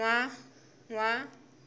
nwa